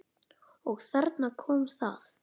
Og þarna kom það.